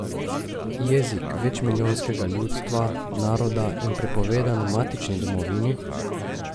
Jezik večmilijonskega ljudstva, naroda in prepovedan v matični domovini?